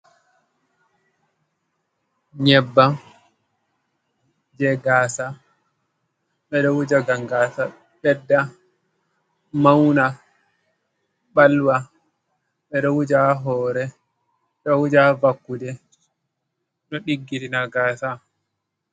Nyebbam je gasa ɓeɗo wuja ngam gasa ɓedda, mauna, ɓalwa. Ɓeɗo wuja ha hore, ɓeɗo wuja ha vakkude, ɗo ɗiggitina gasa.